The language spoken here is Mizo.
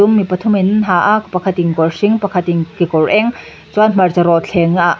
dum mi pathumin an ha a pakhat in kawr hring pakhat in kekawr eng chuan hmarcha rawt thleng ahh--